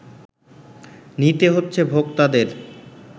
নিতে হচ্ছে ভোক্তাদের